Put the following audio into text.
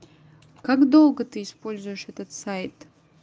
как долго ты используешь этот сайт